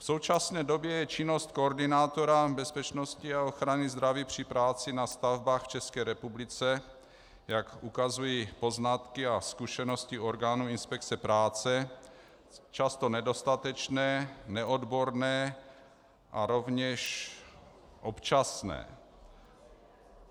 V současné době je činnost koordinátora bezpečnosti a ochrany zdraví při práci na stavbách v České republice, jak ukazují poznatky a zkušenosti orgánů inspekce práce, často nedostatečná, neodborná a rovněž občasné.